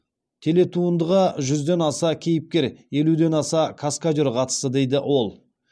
телетуындыға жүзден аса кейіпкер елуден аса каскадер қатысты дейді ол